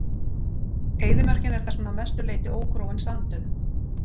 Eyðimörkin er þess vegna að mestu leyti ógróin sandauðn.